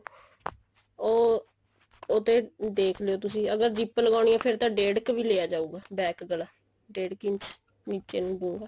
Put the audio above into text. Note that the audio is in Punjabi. ਉਹ ਉਹ ਤੇ ਦੇਖ ਲਿਓ ਤੁਸੀਂ ਅਗਰ zip ਲਗਾਨੀ ਹੈ ਤਾਂ ਫੇਰ ਤਾਂ ਡੇਡ ਕ ਵੀ ਲਿਆ ਜਾਉਗਾ back ਗਲਾ ਡੇਢ ਕ ਇੰਚ ਨਿੱਚੇ ਨੂੰ ਗੋਲ